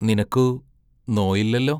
നിനക്കു നോയില്ലല്ലോ?